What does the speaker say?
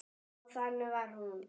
Já, þannig var hún.